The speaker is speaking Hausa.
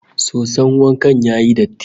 Soson wanka ya yi datti